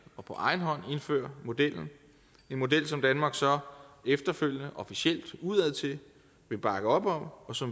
og på egen hånd indfører modellen en model som danmark så efterfølgende officielt udadtil vil bakke op om og så